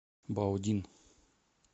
баодин